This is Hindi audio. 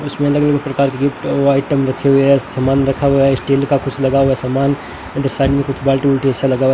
उसमें अलग अलग प्रकार के गिफ्ट व आइटम रखे हुए है सामान रखा हुआ है स्टील का कुछ लगा हुआ समान उधर साइड में कुछ बाल्टी उल्टे ऐसा लगा हुआ --